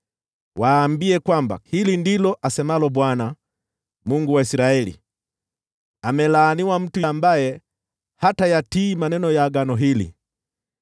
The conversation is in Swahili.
Waambie kwamba hili ndilo asemalo Bwana , Mungu wa Israeli: ‘Amelaaniwa mtu ambaye hatayatii maneno ya agano hili,